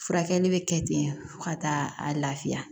Furakɛli bɛ kɛ ten fo ka taa a lafiya